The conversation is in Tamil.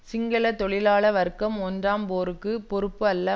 சிங்கள தொழிலாள வர்க்கம் ஒன்றாம் போருக்கு பொறுப்பு அல்ல